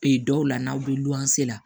Ee dɔw la n'aw bɛ luwanse la